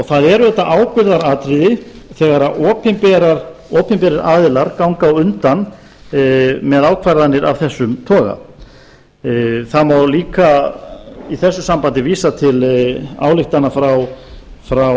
það er auðvitað ábyrgðaratriði þegar opinberir aðilar ganga á undan með ákvarðanir af þessum toga það má líka í þessu sambandi vísa til ályktana frá